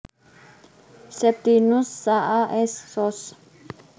Septinus Saa S Sos